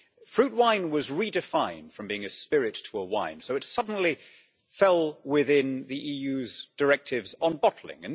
Fruit wine was redefined from being a spirit to a wine, so it suddenly fell within the EU's directives on bottling.